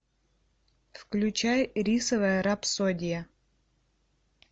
включай рисовая рапсодия